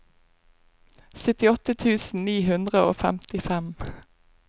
syttiåtte tusen ni hundre og femtifem